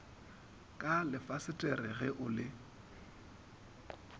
ka lefasetere ge o le